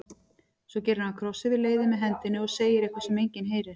Svo gerir hann kross yfir leiðið með hendinni og segir eitthvað sem enginn heyrir.